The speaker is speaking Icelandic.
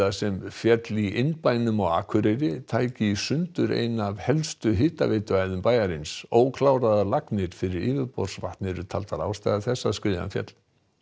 sem féll í innbænum á Akureyri tæki í sundur eina af helstu bæjarins ókláraðar lagnir fyrir yfirborðsvatn eru taldar ástæða þess að skriðan féll